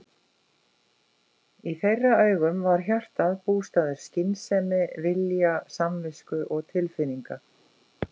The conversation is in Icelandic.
Í þeirra augum var hjartað bústaður skynsemi, vilja samvisku og tilfinninga.